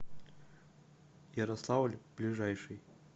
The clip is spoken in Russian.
ярославль ближайший